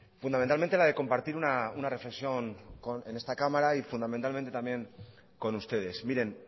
fundamentalmente la de compartir una reflexión en esta cámara y fundamentalmente también con ustedes miren